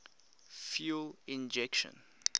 fuel injection